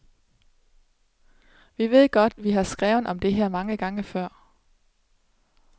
Vi ved godt, vi har skrevet om det her mange gange før.